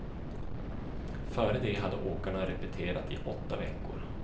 Före det hade åkarna repeterat i åtta veckor.